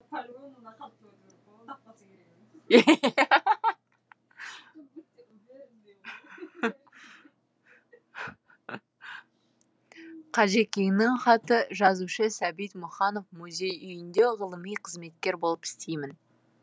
қажекеңнің хаты жазушы сәбит мұқанов музей үйінде ғылыми қызметкер болып істеймін